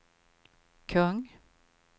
kung